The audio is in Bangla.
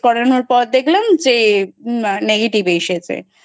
Test করানোর পর দেখলাম যে Negative এসেছে।